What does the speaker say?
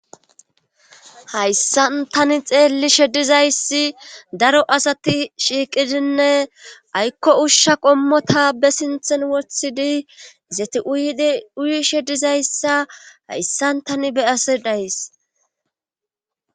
hayssan tani xeelli shedizayssi daro asati shiiqidinne aykko ushsha qommota be sinthen wothidi zeti uyidi uyi shedizayssa hayssan tani beyase days